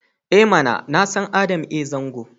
I mana! Na san Adam A Zango.